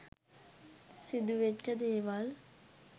සිදුවෙච්ච දේවල්